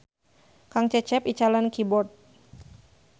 Kang Cecep icalan keyboard